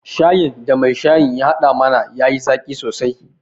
Shayin da mai shayin ya haɗa mana ya yi zaƙi sosai